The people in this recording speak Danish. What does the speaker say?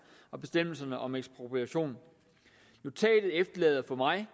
og bestemmelserne om ekspropriation notatet efterlader mig